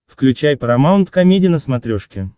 включай парамаунт комеди на смотрешке